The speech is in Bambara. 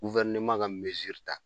ka ta